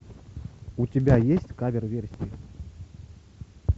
у тебя есть кавер версия